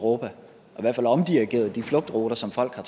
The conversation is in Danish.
og i hvert fald omdirigeret de flugtruter som folk har